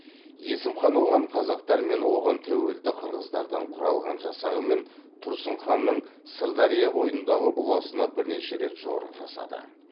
есім хан оған қазақтар мен оған тәуелді қырғыздардан құралған жасағымен тұрсын ханның сырдария бойындағы ұлысына бірнеше рет жорық жасады